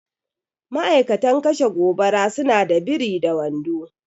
Ma'aikatan kashe gobara suna sa biri da wando